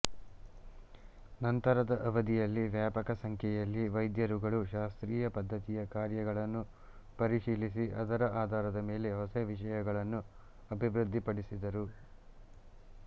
ನಂತರದ ಅವಧಿಯಲ್ಲಿ ವ್ಯಾಪಕ ಸಂಖ್ಯೆಯಲ್ಲಿ ವೈದ್ಯರುಗಳು ಶಾಸ್ತ್ರೀಯ ಪದ್ದತಿಯ ಕಾರ್ಯಗಳನ್ನು ಪರಿಶೀಲಿಸಿ ಅದರ ಆಧಾರದ ಮೇಲೆ ಹೊಸ ವಿಷಯಗಳನ್ನು ಅಭಿವೃದ್ಧಿಪಡಿಸಿದರು